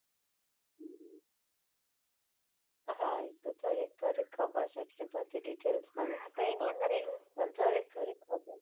હા એ તો થોડી થોડી ખબર છે એટલી બધી details માં નથી ખબર પણ થોડી થોડીક ખબર છે .